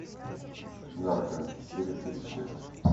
нарко серия тридцать шесть